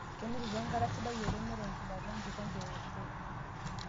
Kinotito enkata sidai oleng neton kidala enkikombe e Fa